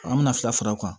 An bɛna fila fara o kan